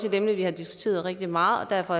et emne vi har diskuteret rigtig meget derfor